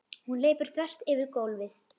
Hún hleypur þvert yfir gólfið.